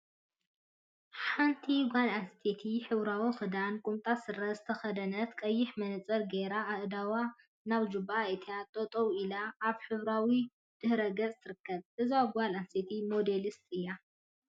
ሓንቲ ጓል አንስተይቲ ሕብራዊ ክዳንን ቁምጣ ስረን ዝተከደነት ቀይሕ መነፀር ገይራ አእዳዋ ናብ ጅባ አእቲያ ጠጠው ኢላ አብ ሕብራዊ ድሕረ ገፅ ትርከብ፡፡ እዛ ጓል አንስተይቲ ሞዴልስት ድያ?